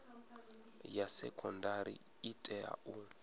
ya sekondari i tea u